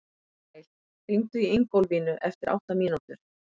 Gael, hringdu í Ingólfínu eftir átta mínútur.